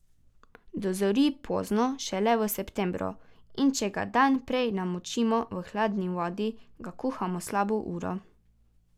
Dozori pozno, šele v septembru, in če ga dan prej namočimo v hladni vodi, ga kuhamo slabo uro.